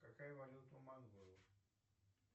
какая валюта у монголов